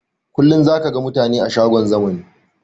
Kullum zaka ga mutane a shagon zamani